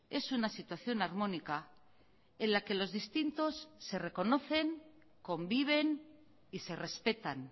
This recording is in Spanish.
es una situación armónica en la que los distintos se reconocen conviven y se respetan